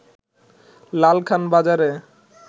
লালখান বাজারে